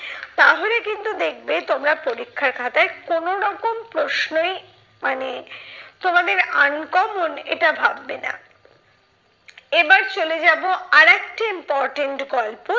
তাহলে কিন্তু দেখবে তোমরা পরীক্ষার খাতায় কোনো রকম প্রশ্নেই মানে তোমাদের uncommon এটা ভাববে না। এবার চলে যাবো আরেকটি important গল্প,